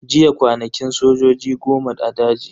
Jiya kwanakin sojojin goma a daji.